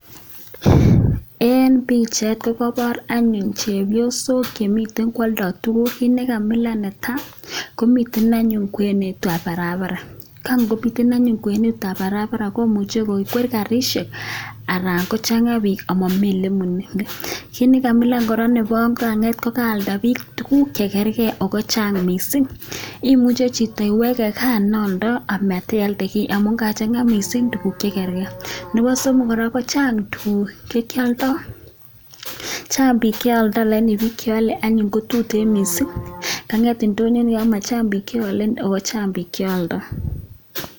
Eng pichait ko kaipor anyun chepyosok chemiten kwaldai tuguuk, kit ne kamilan netai, komiten anyun kwenetab barabara, ko ngomiten anyun kwenetab barabara komuche kokwer karishek anan kochanga biik amami ole bune. Kit ne kamilan kora nebo aeng ko kanget kokaalda biik tuguk che karkei ako chang mising, imuche chito iweke gaa ne aoldoi amatialde kiy amun kachanga mising tuguk che karkei. Nebo somo kora, kochang tuguuk che aldoi, chang biik che aldoi lakini biik che alei anyun ko tutiin mising, kangeet indonyo nikan komachang biik che ale ako chang biik che aldoi.